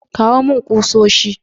Kawo mani kusoshi.